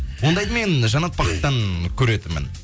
ондайды мен жанат бақыттан көретінмін